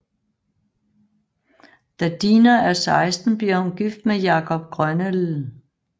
Da Dina er 16 bliver hun gift med Jacob Grønelv